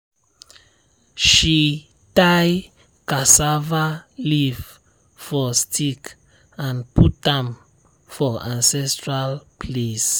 she tie cassava leaf for stick and put am for ancestral place.